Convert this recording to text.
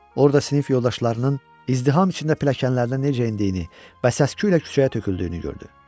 Orada sinif yoldaşlarının izdiham içində pilləkənlərdən necə endiyini və səs-küylə küçəyə töküldüyünü gördü.